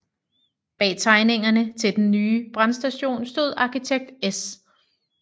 Bag tegningerne til den nye brandstation stod arkitekt S